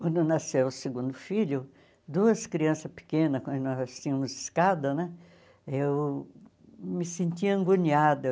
Quando nasceu o segundo filho, duas crianças pequenas, quando nós tínhamos escada né, eu me sentia agoniada.